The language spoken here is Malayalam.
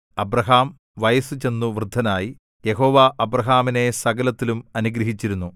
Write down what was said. അബ്രാഹാം വയസ്സുചെന്നു വൃദ്ധനായി യഹോവ അബ്രാഹാമിനെ സകലത്തിലും അനുഗ്രഹിച്ചിരുന്നു